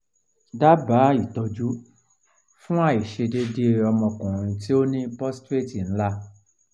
daba itoju fun aisedede ikan omo okunri to ni prostrate nla